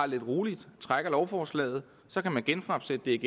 lidt roligt og trækker lovforslaget så kan man genfremsætte det